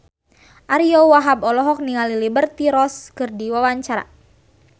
Ariyo Wahab olohok ningali Liberty Ross keur diwawancara